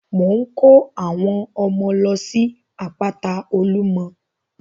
Mò ń ko àwọn ọmọ lọ sí àpáta olumọ.